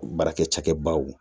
Baarakɛ cakɛbaw